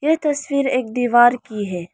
ये तस्वीर एक दीवार की है।